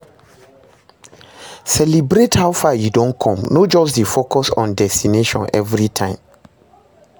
Celibrate how far yu don com, no just dey focus on destination evritime